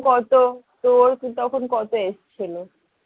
কত তোর তখন কত age ছিল?